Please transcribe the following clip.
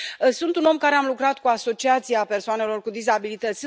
Sunt un om care a lucrat cu Asociația persoanelor cu dizabilități.